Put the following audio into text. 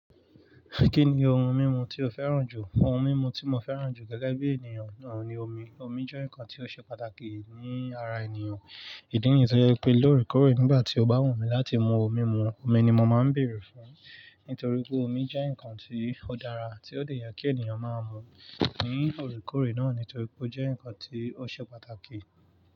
Kí ni ohun mímu tí o fẹ́ràn jù? Ohun mímu tí mo fẹ́ràn jù gẹ́gẹ́ bí ènìyàn oun ni omi. Omi jẹ́ nǹkan tí ó ṣe pàtàkì ní ara ènìyàn. Ìdí nìyí tí ó jẹ pé loórekoórè nígbà tí ó bá wù mí láti mu ohun mímu, omi ni mo máa ń bèèrè fún. Nítorí pé omi jẹ́ nǹkan tí ó dára tí ó dè ye kí ènìyàn máa mú ní òorekoòre náà nítorí pé ó jẹ́ nǹkan tí ó ṣe pàtàkì.